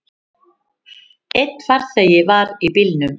Einn farþegi var í bílnum.